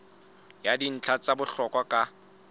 ya dintlha tsa bohlokwa ka